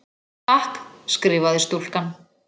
Takk, skrifaði stúlkan.